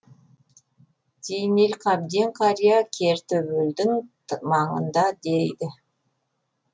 зейнелқабден қария кертөбелдің маңында дейді